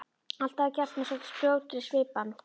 Allt hafi gerst með svo skjótri svipan.